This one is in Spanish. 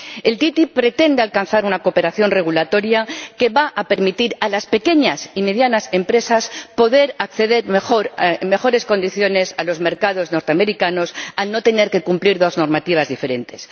La ATCI pretende alcanzar una cooperación regulatoria que va a permitir a las pequeñas y medianas empresas poder acceder mejor, en mejores condiciones, al mercado estadounidense, al no tener que cumplir dos normativas diferentes.